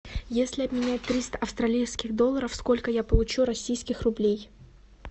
если обменять триста австралийских долларов сколько я получу российских рублей